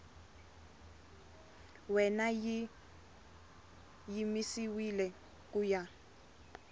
wena yi yimisiwile ku ya